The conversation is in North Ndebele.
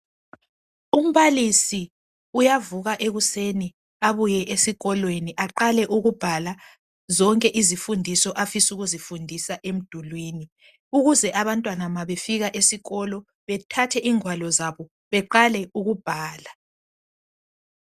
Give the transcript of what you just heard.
Umbalisi uyavuka ekuseni abuye esikolweni aqale ukubhala zonke izifundiso afisa ukuzifundisa emdulwini ukuze abantwana ma befika esikolo bethathe ingwalo zabo beqale ukubhala